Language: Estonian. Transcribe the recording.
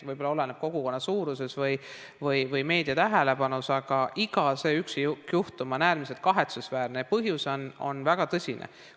Võib-olla oleneb see kogukonna suurusest või meedia tähelepanust, aga iga üksikjuhtum on äärmiselt kahetsusväärne ja põhjus on väga tõsine.